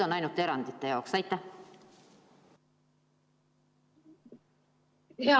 on ainult erandite jaoks.